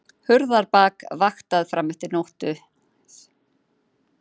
Hurðarbak vaktað fram eftir nóttu